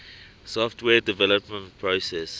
software development process